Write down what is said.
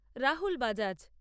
Rahul Bajaj